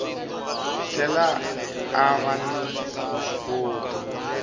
tlhela a va ni vuswikoti